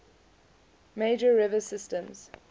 major river systems